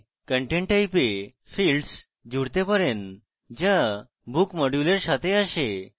content type এ fields জুড়তে পারেন যা book module এর সাথে আসে